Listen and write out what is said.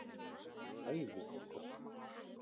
BÆÐI ER GOTT